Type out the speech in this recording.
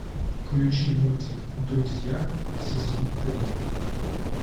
включи мультик друзья сезон три